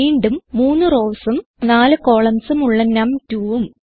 വീണ്ടും 3 rowsഉം 4 columnsഉം ഉള്ള num2ഉം